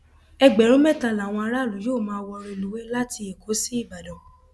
ẹgbẹrún mẹta làwọn aráàlú yóò máa wọ rélùwéè láti ẹkọ sí ìbàdàn